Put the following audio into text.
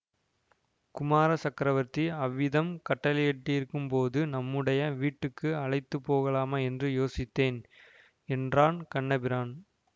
குமார சக்கரவர்த்தி அவ்விதம் கட்டளையிட்டிருக்கும்போது நம்முடைய வீட்டுக்கு அழைத்து போகலாமா என்று யோசித்தேன் என்றான் கண்ணபிரான்